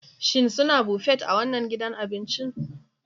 Shin suna Buffet a wannan gidan abincin?